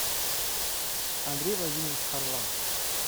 андрей владимирович харлан